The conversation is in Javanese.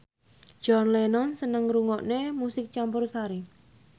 John Lennon seneng ngrungokne musik campursari